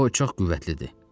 O çox qüvvətlidir.